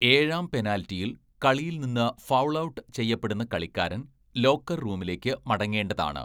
ഏഴാം പെനാൽറ്റിയിൽ കളിയിൽ നിന്ന് 'ഫൗൾ ഔട്ട്' ചെയ്യപ്പെടുന്ന കളിക്കാരൻ ലോക്കർ റൂമിലേക്ക് മടങ്ങേണ്ടതാണ്.